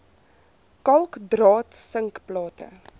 kalk draad sinkplate